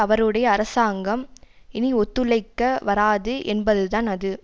அவருடைய அரசாங்கம் இனி ஒத்துழைக்க வராது என்பது தான் அது